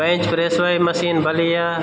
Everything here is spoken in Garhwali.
बेंच प्रेस वाली मशीन भली या --